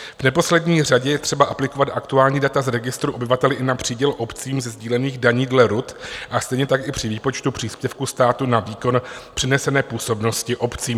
V neposlední řadě je třeba aplikovat aktuální data z registru obyvatel i na příděl obcím ze sdílených daní dle RUD a stejně tak i při výpočtu příspěvku státu na výkon přenesené působnosti obcím.